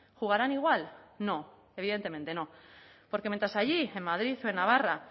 jugarán igual no evidentemente no porque mientas allí en madrid o en navarra